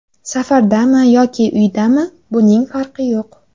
Safardami yoki uydami buning farqi yo‘q.